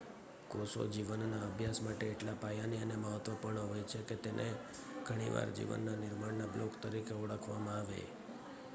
કોષો જીવનના અભ્યાસ માટે એટલા પાયાની અને મહત્ત્વપૂર્ણ હોય છે કે તેને ઘણી વાર જીવનના નિર્માણ ના બ્લોક તરીકે ઓળખવામાં આવે